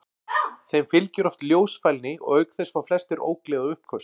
Þeim fylgir oft ljósfælni og auk þess fá flestir ógleði og uppköst.